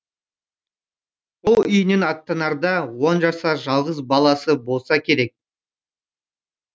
ол үйінен аттанарда он жасар жалғыз баласы болса керек